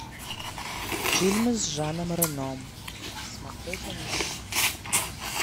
фильмы с жаном рено смотреть онлайн